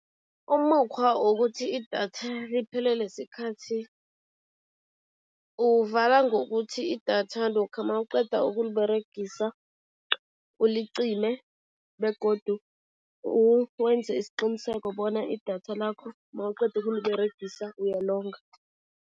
Umukghwa wokuthi idatha liphelele sikhathi, uwuvala ngokuthi idatha lokha mawuqeda ukuliberegisa, ulicime begodu uwenze isiqiniseko bona idatha lakho nawuqeda ukuliberegisa uyalonga.